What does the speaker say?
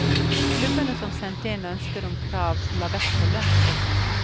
Klubbene som sendte inn ønsker om krav la vekt på lønnsøkninger.